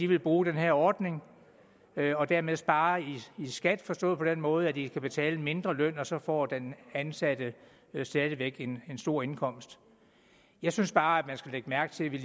vil bruge den her ordning og dermed spare i skat forstået på den måde at de skal betale en mindre løn og så får den ansatte stadig væk en stor indkomst jeg synes bare man skal lægge mærke til at vi